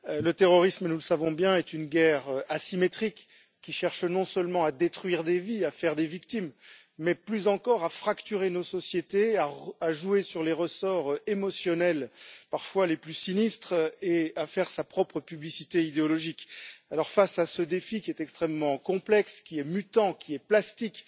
Monsieur le Président, Monsieur le Commissaire, le terrorisme, nous le savons bien, est une guerre asymétrique qui cherche non seulement à détruire des vies, à faire des victimes, mais plus encore, à fracturer nos sociétés, à jouer sur les ressorts émotionnels, parfois les plus sinistres, et à faire sa propre publicité idéologique. Alors, face à ce défi extrêmement complexe, qui est mutant, plastique,